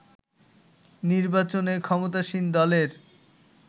নির্বাচনে ক্ষমতাসীন দলের